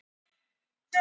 Hraunum